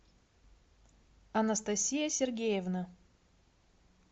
анастасия сергеевна